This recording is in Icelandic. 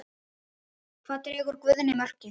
Hvar dregur Guðni mörkin?